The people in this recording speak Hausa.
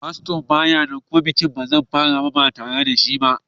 Fasto ba ya nan kuma bikin ba zai iya farawa ba tare da shi ba.